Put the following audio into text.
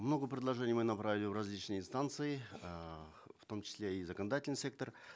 много предложений мы направили в различные инстанции эээ в том числе и законодательный сектор